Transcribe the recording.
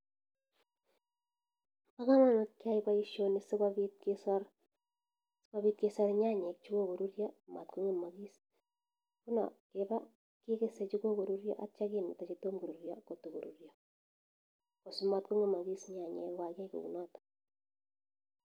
Paa kamanut keaii paishonii siikopit kesar nyanyek choo kokorurya matkongemakis ngunoo keba kekesee chokokorurya atya kemeta chetoma korurya kotokorurya asimatkongemakis nyanyek koo kakiaii kunotok